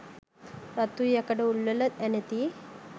රත් වූ යකඩ උල්වල ඇනෙති.